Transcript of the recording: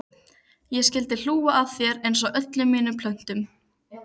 Ég skyldi hlú að þér einsog öllum mínum plöntum.